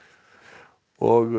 og